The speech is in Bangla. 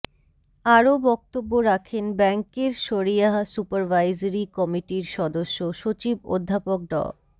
আরও বক্তব্য রাখেন ব্যাংকের শরীআহ সুপারভাইজরি কমিটির সদস্য সচিব অধ্যাপক ড